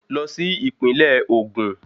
Lọ sí Ìpínlẹ̀ Ògùn